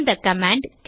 இந்த கமாண்ட்